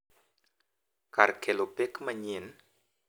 Kar kelo pek manyien.